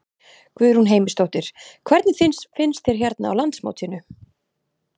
Guðrún Heimisdóttir: Hvernig finnst þér hérna á landsmótinu?